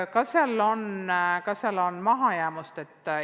Kas on mahajäämust?